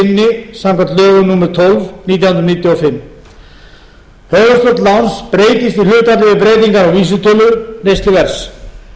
sinni samkvæmt lögum númer tólf nítján hundruð níutíu og fimm höfuðstóll láns breytist í hlutfalli við breytingar á vísitölu neysluverðs